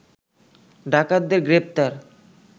ডাকাতদের গ্রেপ্তার